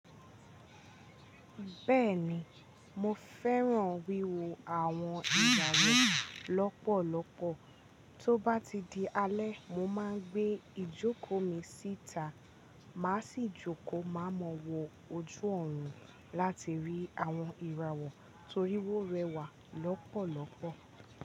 Bẹ́ẹ̀ni, mo fẹ́ran wíwo àwon ìgbàlè lọ́pọ̀lọ́pọ̀. Tóbá ti di alẹ́, mo máa gbé ijoko mi síta, màá sì jókòó má mọ́wo ojú ọ̀run láti rí àwọn ìràwọ̀ tóri ó rẹwà lọ́pọ̀lọ́pọ̀.